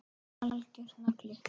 Algjör nagli.